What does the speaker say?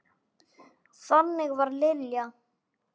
Þannig var Lilja.